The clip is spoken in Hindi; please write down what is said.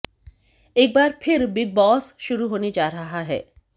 एक बार फिर बिग बॉस शुरू होने जा रहा है